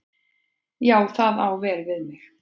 Já, það á vel við mig.